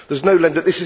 There is no lender